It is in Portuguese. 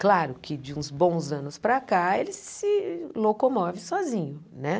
Claro que de uns bons anos para cá ele se locomove sozinho né.